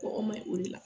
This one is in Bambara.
Kɔkɔ maɲi o de la